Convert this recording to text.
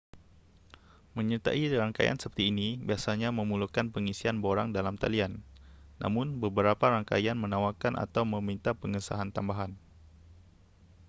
menyertai rangkaian seperti ini biasanya memerlukan pengisian borang dalam talian namun beberapa rangkaian menawarkan atau meminta pengesahan tambahan